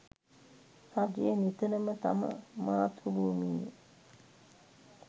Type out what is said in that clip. රජය නිතරම තම මාතෘභූමියේ